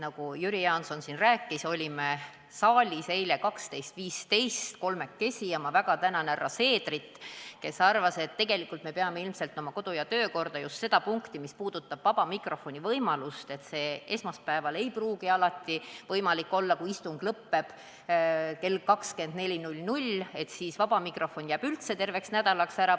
Nagu Jüri Jaanson siin rääkis, olime saalis eile 12.15 kolmekesi, ja ma väga tänan härra Seederit, kes arvas, et tegelikult me peame ilmselt muutma oma kodu- ja töökorra just seda punkti, mis puudutab vaba mikrofoni võimalust, sest esmaspäeval ei pruugi see alati võimalik olla, kui istung lõppeb kell 24, ja siis vaba mikrofon jääb üldse terveks nädalaks ära.